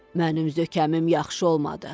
Mənim zökəmim yaxşı olmadı.